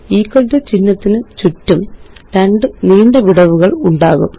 equal to ചിഹ്നത്തിനു ചുറ്റും രണ്ട് നീണ്ട വിടവുകള് ഉണ്ടാകും